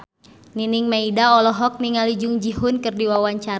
Nining Meida olohok ningali Jung Ji Hoon keur diwawancara